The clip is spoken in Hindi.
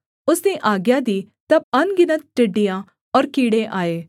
उसने आज्ञा दी तब अनगिनत टिड्डियाँ और कीड़े आए